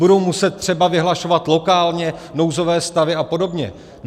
Budou muset třeba vyhlašovat lokálně nouzové stavy a podobně.